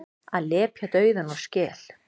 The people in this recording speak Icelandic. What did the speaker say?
Að lepja dauðann úr skel